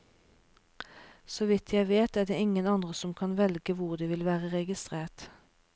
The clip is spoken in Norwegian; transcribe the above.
Så vidt jeg vet, er det ingen andre som kan velge hvor de vil være registrert.